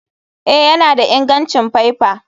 Eh, yana da ingancin faifa.